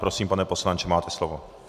Prosím, pane poslanče, máte slovo.